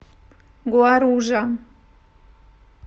гуаружа